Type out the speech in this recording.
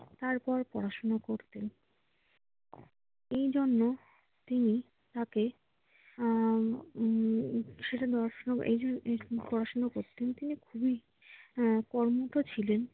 তারপর পড়াশোনা করতেন। এজন্য তিনি হাতে আহ উম উদ্ভট প্রশ্ন করতেন। তিনি কর্মঠও ছিলেন।